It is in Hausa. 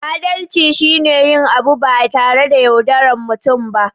Adalci shi ne yin abu ba tare da yaudaran mutum ba